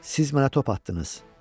siz mənə top atdınız.